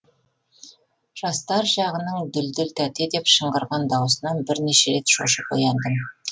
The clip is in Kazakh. жастар жағының дүлдүл тәте деп шыңғырған дауысынан бірнеше рет шошып ояндым